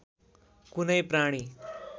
कुनै प्राणी